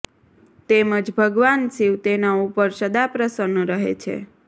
તેમજ ભગવાન શિવ તેના ઉપર સદા પ્રસન્ન રહે છે